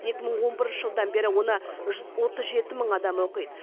екі мың он бірінші жылдан бері оны жүз отыз жеті мың адам оқиды